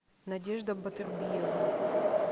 надежда батырбиевна